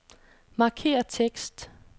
Markér tekst.